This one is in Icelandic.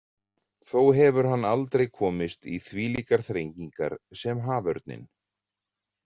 Þó hefur hann aldrei komist í þvílíkar þrengingar sem haförninn.